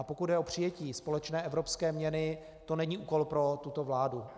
A pokud jde o přijetí společné evropské měny, to není úkol pro tuto vládu.